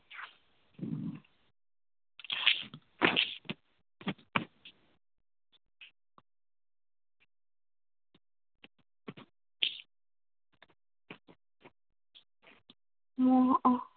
মহা